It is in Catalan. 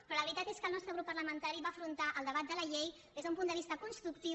però la veritat és que el nostre grup parlamentari va afrontar el debat de la llei des d’un punt de vista constructiu